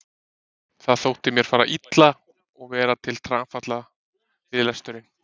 Það þótti mér fara illa og vera til trafala við lesturinn.